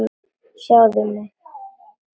Sjáðu mig.